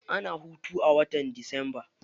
Ana hutu a watan disamba.